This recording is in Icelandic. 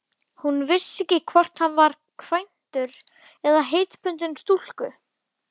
Hún vissi ekki hvort hann var kvæntur eða heitbundinn stúlku.